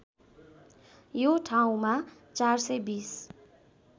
यो ठाउँमा ४२०